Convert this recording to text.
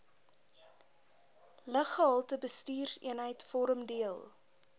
luggehaltebestuurseenheid vorm deel